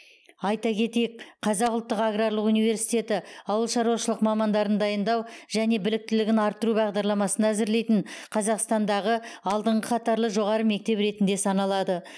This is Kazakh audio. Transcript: айта кетейік қазақ ұлттық аграрлық университеті ауылшаруашылық мамандарын дайындау және біліктілігін арттыру бағдарламасын әзірлейтін қазақстандағы алдыңғы қатарлы жоғары мектеп ретінде саналады